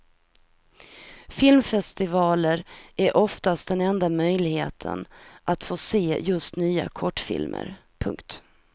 Filmfestivaler är oftast den enda möjligheten att få se just nya kortfilmer. punkt